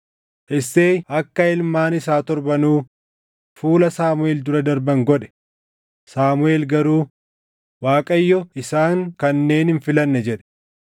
Isseey akka ilmaan isaa torbanuu fuula Saamuʼeel dura darban godhe; Saamuʼeel garuu, “ Waaqayyo isaan kanneen hin filanne” jedhe.